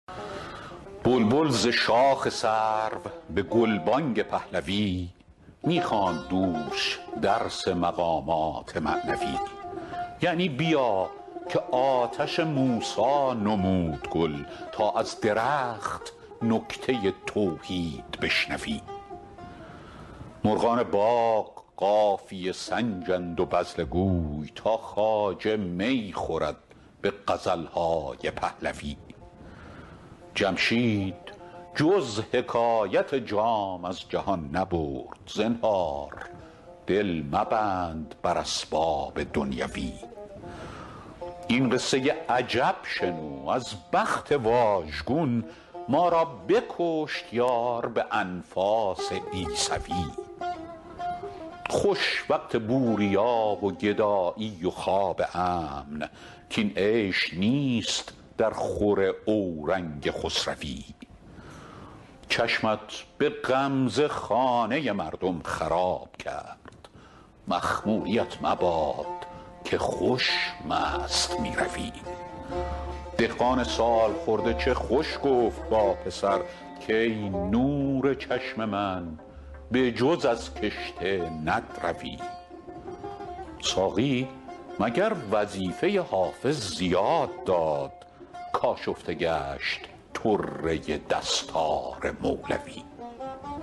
بلبل ز شاخ سرو به گلبانگ پهلوی می خواند دوش درس مقامات معنوی یعنی بیا که آتش موسی نمود گل تا از درخت نکته توحید بشنوی مرغان باغ قافیه سنجند و بذله گوی تا خواجه می خورد به غزل های پهلوی جمشید جز حکایت جام از جهان نبرد زنهار دل مبند بر اسباب دنیوی این قصه عجب شنو از بخت واژگون ما را بکشت یار به انفاس عیسوی خوش وقت بوریا و گدایی و خواب امن کاین عیش نیست درخور اورنگ خسروی چشمت به غمزه خانه مردم خراب کرد مخموریـت مباد که خوش مست می روی دهقان سال خورده چه خوش گفت با پسر کای نور چشم من به جز از کشته ندروی ساقی مگر وظیفه حافظ زیاده داد کآشفته گشت طره دستار مولوی